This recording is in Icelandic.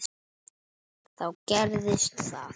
Þá gerðist það.